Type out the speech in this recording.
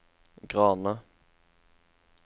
Grane